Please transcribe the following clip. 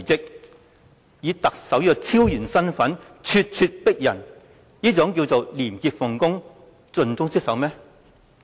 他以特首的超然身份咄咄逼人，這是廉潔奉公、盡忠職守嗎？